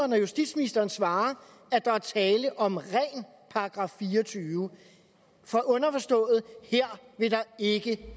når justitsministeren svarer at der er tale om ren § fire og tyve for underforstået her vil der ikke